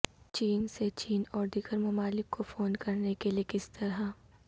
چین سے چین اور دیگر ممالک کو فون کرنے کے لئے کس طرح